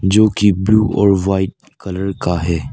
जो की ब्लू और वाइट कलर का है।